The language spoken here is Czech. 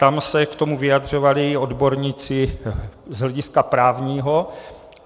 Tam se k tomu vyjadřovali odborníci z hlediska právního.